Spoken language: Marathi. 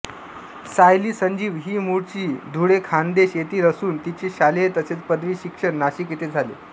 सायली संजीव ही मूळची धुळेखान्देश येथील असून तिचे शालेय तसेच पदवी शिक्षण नाशिक येथे झाले